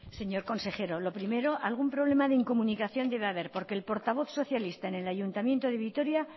señor consejero lo primero algún problema de incomunicación debe haber porque el portavoz socialista en el ayuntamiento de vitoria